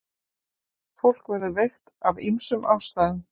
Fólk verður veikt af ýmsum ástæðum.